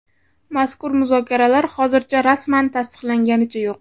Mazkur muzokaralar hozircha rasman tasdiqlanganicha yo‘q.